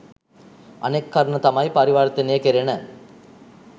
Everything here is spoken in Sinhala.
අනෙක් කරුණ තමයි පරිවර්තනය කෙරෙන